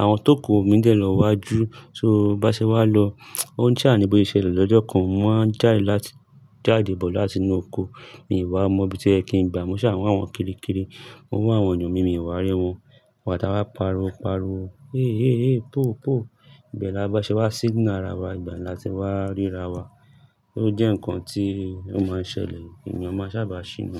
àwọn tókù omi ń dẹ̀ lọ wájú so bá ṣe wá lọ ó ń ṣàní bó ṣe lọ lọ́jọ́ kan mo máa jáde láti, jáde bọ̀ láti inú oko mi ò wá mọ ibi tí o yẹ kín gba. Mo ṣà wọ́n àwọn kiri kiri, mo wọ́n àwọn ènìyàn mi ò wá rí wọn, wa ta wá paro paro, ẹ́ ẹ́ ẹ́, pòò pòò. Ìbẹ̀ lá bá ṣe wá signal ara wa ìgbà náà tí wá ríra wa, ó jẹ́ ǹkan tí ó máa ń ṣẹlẹ̀, ènìyàn máa sábà ṣìnà.